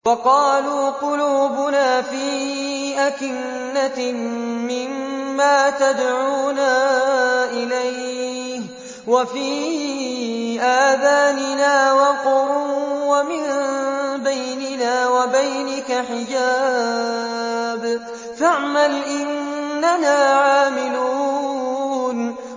وَقَالُوا قُلُوبُنَا فِي أَكِنَّةٍ مِّمَّا تَدْعُونَا إِلَيْهِ وَفِي آذَانِنَا وَقْرٌ وَمِن بَيْنِنَا وَبَيْنِكَ حِجَابٌ فَاعْمَلْ إِنَّنَا عَامِلُونَ